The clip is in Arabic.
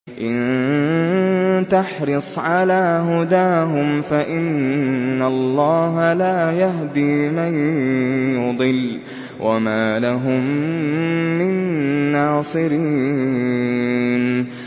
إِن تَحْرِصْ عَلَىٰ هُدَاهُمْ فَإِنَّ اللَّهَ لَا يَهْدِي مَن يُضِلُّ ۖ وَمَا لَهُم مِّن نَّاصِرِينَ